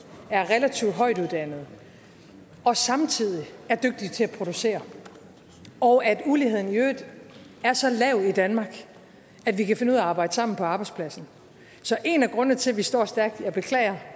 er relativt højtuddannede og samtidig er dygtige til at producere og at uligheden i øvrigt er så lav i danmark at vi kan finde ud af at arbejde sammen på arbejdspladsen så en af grundene til at vi står stærkt jeg beklager